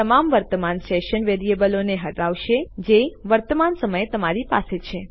તે તમામ વર્તમાન સેશન વેરીએબલો ને હટાવશે જે વર્તમાન સમયે તમારી પાસે છે